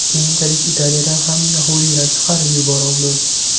Keyinchalik Italiyadan ham yahudiylar chiqarib yuborildi.